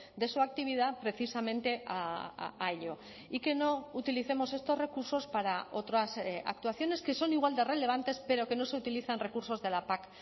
de su actividad precisamente a ello y que no utilicemos estos recursos para otras actuaciones que son igual de relevantes pero que no se utilizan recursos de la pac